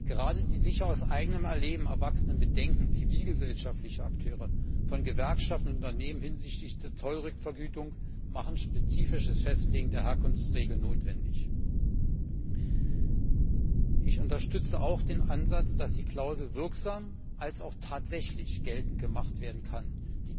Gerade die aus eigenem Erleben erwachsenen Bedenken zivilgesellschaftlicher Akteure, von Gewerkschaften und Unternehmen hinsichtlich der Zollrückvergütung machen ein spezifisches Festlegen der Herkunftsregeln notwendig. Ich unterstütze auch den Ansatz, dass die Klausel sowohl wirksam sein als auch tatsächlich geltend gemacht werden können muss.